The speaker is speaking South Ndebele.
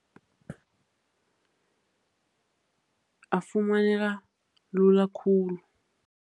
Afumaneka lula khulu.